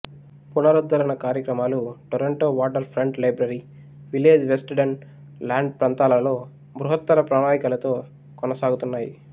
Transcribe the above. పునరుద్ధరణ కార్యక్రమాలు Toronto waterfront library village west Don lands ప్ర్రంతాలలో బృహత్తర ప్రణాళికతో కొనసాగుతున్నాయి